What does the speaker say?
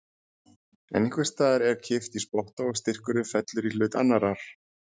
En einhvers staðar er kippt í spotta og styrkurinn fellur í hlut annarrar.